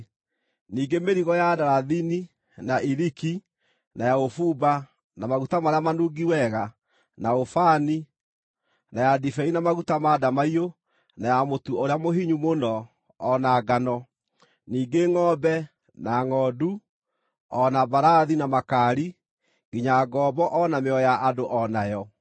ningĩ mĩrigo ya ndarathini na iriki, na ya ũbumba, na maguta marĩa manungi wega, na ũbani, na ya ndibei na maguta ma ndamaiyũ, na ya mũtu ũrĩa mũhinyu mũno, o na ngano; ningĩ ngʼombe na ngʼondu; o na mbarathi na makaari; nginya ngombo o na mĩoyo ya andũ o nayo.